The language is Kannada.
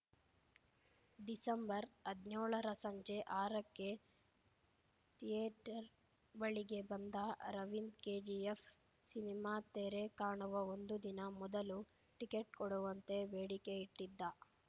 ಡಿಸಂಬರ್ಹದ್ನ್ಯೋಳರ ಸಂಜೆ ಆರಕ್ಕೆ ಥಿಯೇಟರ್‌ ಬಳಿಗೆ ಬಂದ ಅರವಿಂದ್‌ ಕೆಜಿಎಫ್‌ ಸಿನಿಮಾ ತೆರೆ ಕಾಣುವ ಒಂದು ದಿನ ಮೊದಲು ಟಿಕೆಟ್‌ ಕೊಡುವಂತೆ ಬೇಡಿಕೆ ಇಟ್ಟಿದ್ದ